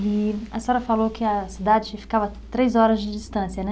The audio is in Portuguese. E a senhora falou que a cidade ficava a três horas de distância, né?